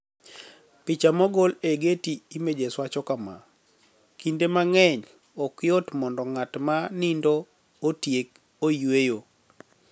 Picha mogol e Getty Images wacho kama: "Kinide manig'eniy, ok yot monido nig'at ma niinido otiek oyueyo.